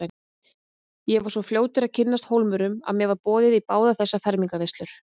Ég var svo fljótur að kynnast Hólmurum að mér var boðið í báðar þessar fermingarveislur.